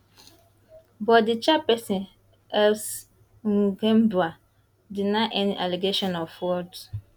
but di chairperson elsie nghikembua deny any allegations of fraud